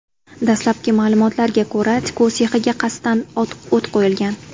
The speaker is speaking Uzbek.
Dastlabki ma’lumotlarga ko‘ra, tikuv sexiga qasddan o‘t qo‘yilgan.